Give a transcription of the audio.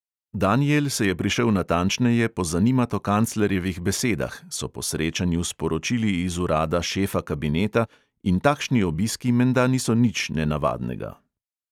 Daniel se je prišel natančneje pozanimat o kanclerjevih besedah, so po srečanju sporočili iz urada šefa kabineta, in takšni obiski menda niso nič nenavadnega.